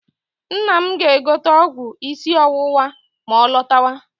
Nna m ga-egote ọgwụ isi ọwụwa ma ọ lọtawa.